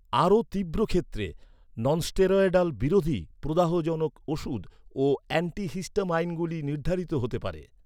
আরও তীব্র ক্ষেত্রে, ননস্টেরয়ডাল বিরোধী প্রদাহজনক ওষুধ ও অ্যান্টিহিস্টামাইনগুলি নির্ধারিত হতে পারে।